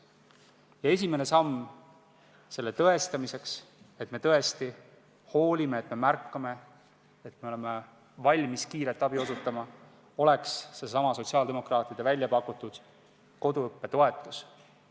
Ja esimene samm tõestamaks, et me tõesti hoolime, et me märkame, et me oleme valmis kiiret abi osutama, oleks seesama sotsiaaldemokraatide välja pakutud koduõppe toetus.